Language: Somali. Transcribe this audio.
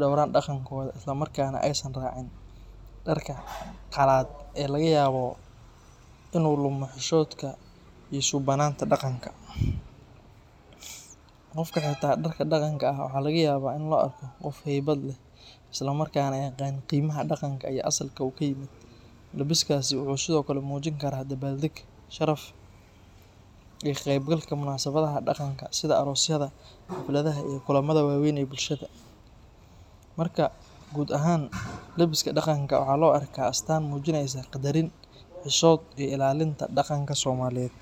dhowraan dhaqankooda, isla markaana aysan raacin dharka qalaad ee laga yaabo inuu lumo xishoodka iyo suubbanaanta dhaqanka. Qofka xirta dharka dhaqanka ah waxaa laga yaabaa in loo arko qof haybad leh, isla markaana yaqaan qiimaha dhaqanka iyo asalka uu ka yimid. Labiskaasi waxa uu sidoo kale muujin karaa dabaaldeg, sharaf, iyo ka qeybgalka munaasabadaha dhaqanka sida aroosyada, xafladaha iyo kulamada waaweyn ee bulshada. Marka guud ahaan, labiska dhaqanka waxaa loo arkaa astaan muujineysa qadarin, xishood, iyo ilaalinta dhaqanka Soomaaliyeed.